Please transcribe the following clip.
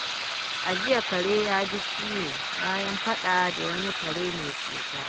A jiya, kare ya ji ciwo bayan faɗa da wani kare mai cuta.